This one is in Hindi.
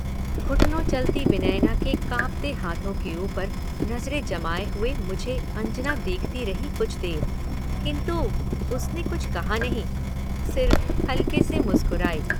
घुटनों चलती विनयना के कांपते हाथों के ऊपर नजरें जमाये हुए मुझे-अंजना देखती रही कुछ देर, किन्तु उसने कुछ कहा नहीं सिर्फ हल्के से मुस्कुरायी।